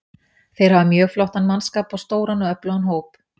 Þeir hafa mjög flottan mannskap og stóran og öflugan hóp.